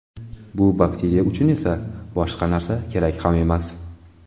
Bu bakteriya uchun esa boshqa narsa kerak ham emas.